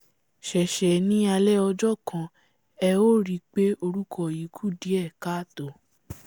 ṣe ṣe ní alẹ́ ọjọ́ kan ẹ ó ríi pé orúkọ yìí kù díẹ̀ káà tó!